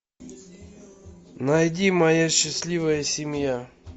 найди моя счастливая семья